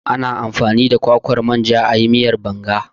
Ana amfani da kwakwar manja ayi miyar Banga ana